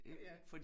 Ja